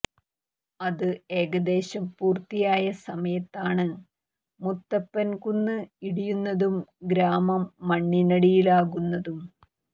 അത് ഏകദേശം പൂർത്തിയായ സമയത്താണ് മുത്തപ്പൻ കുന്ന് ഇടിയുന്നതും ഗ്രാമം മണ്ണിനടിയിലാകുന്നതും